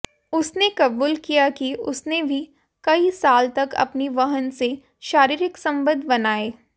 उसने कबूल किया कि उसने भी कई साल तक अपनी बहन से शारीरिक संबंध बनाए